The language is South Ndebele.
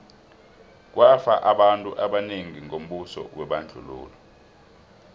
kwafa abantu abanengi ngombuso webandlululo